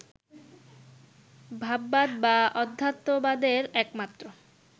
ভাববাদ বা অধ্যাত্মবাদের একমাত্র